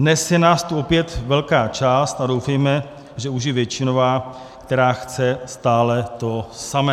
Dnes je nás tu opět velká část, a doufejme, že už i většinová, která chce stále to samé.